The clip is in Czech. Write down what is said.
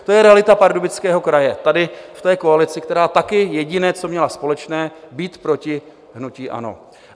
To je realita Pardubického kraje tady v té koalici, která také jediné, co měla společné - být proti hnutí ANO.